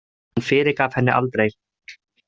Hann fyrirgaf henni aldrei.